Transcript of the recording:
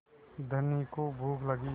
धनी को भूख लगी